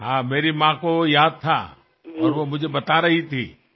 हो माझ्या आईच्या लक्षात होते आणि ती मला सांगत होती